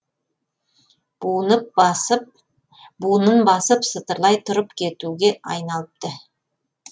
буынын басып сытырлай тұрып кетуге айналыпты